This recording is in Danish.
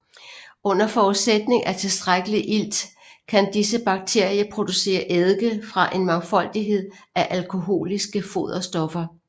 Under forudsætning af tilstrækkelig ilt kan disse bakterier producere eddike fra en mangfoldighed af alkoholiske foderstoffer